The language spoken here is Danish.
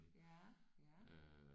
Ja ja